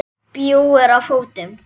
Bjúgur á fótum.